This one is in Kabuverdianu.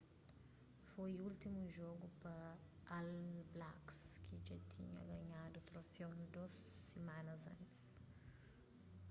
foi últimu jogu pa all blacks ki dja tinha ganhadu troféu a dôs simanas atrás